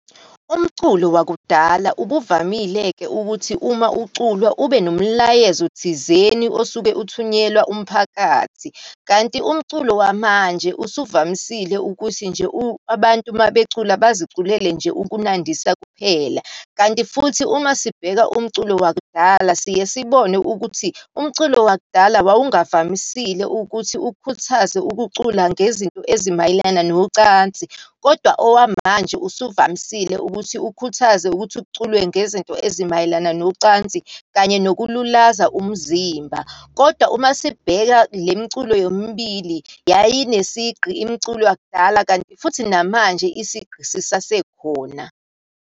Umculo wakudala ubuvamile-ke ukuthi uma uculwa, ube nomlayezo thizeni osuke uthunyelwa umphakathi. Kanti umculo wamanje usuvamisile ukuthi nje abantu uma becula, baziculele nje ukunandisa kuphela. Kanti futhi uma sibheka umculo wakudala siye sibone ukuthi, umculo wakudala wawungavamisile ukuthi ukhuthaze ukucula ngezinto ezimayelana nocansi. Kodwa owamanje usuvamisile ukuthi ukhuthaze ukuthi kuculwe ngezinto ezimayelana nocansi, kanye nokululaza umzimba. Kodwa uma sibheka le mculo yomibili, yayinesigqi imiculo yakudala, kanti futhi namanje isigqi sisasekhona.